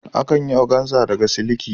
Akan yi oganza daga siliki.